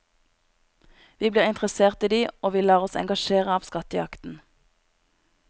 Vi blir interessert i dem, og vi lar oss engasjere av skattejakten.